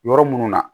Yɔrɔ minnu na